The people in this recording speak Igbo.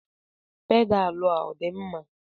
Pedalu a ọ dị mma?